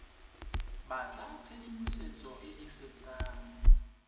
batla tshedimosetso e e fetang